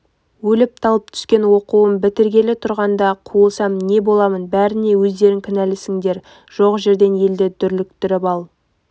өліп-талып түскен оқуым бітіргелі тұрғанда қуылсам не боламын бәріне өздерің кінәлісіңдер жоқ жерден елді дүрліктіріп ал